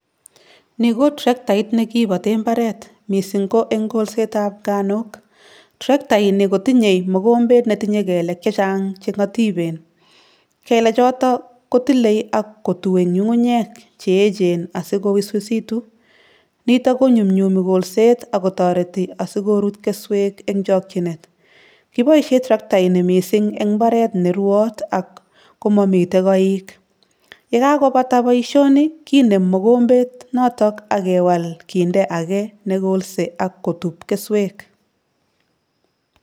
Ni ko traktait ne kibote mbaret mising ko eng kolsetab nganuk, traktaini kotinye mokombet netinye kelek chechang che ngatipen, kele choto kotile ak kotue nyungunyeek cheechen asi kowiswisitu, nito konyumnyumi kolset ako toreti asi korut kesweek eng chokchinet, kiboisie traktaini mising eng mbaret ne ruot ak komamite koik, yekakobata boisioni kinem mokombet noto ak kewal kinde ake ne kolse ak kotup kesweek.